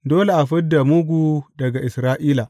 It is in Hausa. Dole a fid da mugu daga Isra’ila.